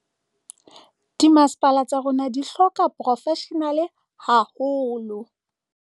"Dimasepala tsa rona di hloka diporofeshenale haholo."